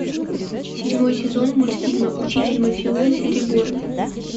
седьмой сезон мультфильма учитель мафиози реборн